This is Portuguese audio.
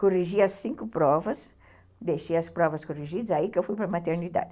Corrigi as cinco provas, deixei as provas corrigidas, aí que eu fui para a maternidade.